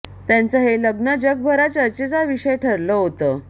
त्यांचं हे लग्न जगभरात चर्चेचा विषय ठरलं होतं